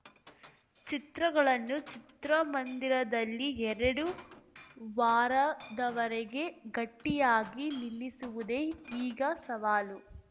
ಚಿತ್ರಗಳನ್ನು ಚಿತ್ರಮಂದಿರದಲ್ಲಿ ಎರಡು ವಾರದವರೆಗೆ ಗಟ್ಟಿಯಾಗಿ ನಿಲ್ಲಿಸುವುದೇ ಈಗ ಸವಾಲು